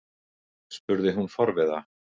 spurði hún forviða.